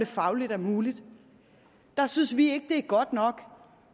fagligt muligt så synes vi ikke godt nok